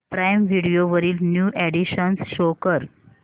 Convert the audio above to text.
prime Video वरील new additions show कर